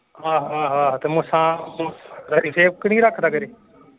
ਆਹੋ ਆਹੋ ਆਹੋ ਤੇ ਮੁੱਛਾਂ ਨਹੀਂ ਰੱਖਦਾ ਖਰੇ।